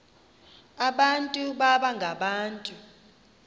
abantu baba ngabantu